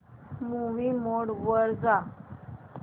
movie mode वर जा